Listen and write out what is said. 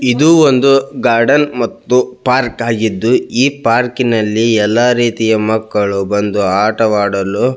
ಇದು ಒಂದು ಗಾರ್ಡನ್ ಮತ್ತು ಪಾರ್ಕ್ ಆಗಿದ್ದು ಈ ಪಾರ್ಕಿನಲ್ಲಿ ಎಲ್ಲ ರೀತಿಯ ಮಕ್ಕಳು ಬಂದು ಆಟ ಆಡಲು --